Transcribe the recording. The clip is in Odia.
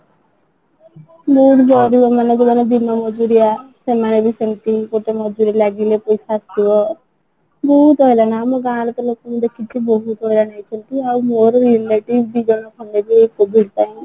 ମାନେ ଦିନ ମଜୁରିଆ ସେମାନେ ବି ସେମତି ଗୋଟେ ମଜୁରୀ ଲାଗିଲେ କୋଉଠୁ ଆସିବ ବହୁତ ଆମ ଗାଁ ର ଲୋକଙ୍କୁ ଦେଖିକି ବହୁତ ହଇରାଣ ହେଇଛନ୍ତି ତ ଆଉ ମୋର ବି COVID ପାଇଁ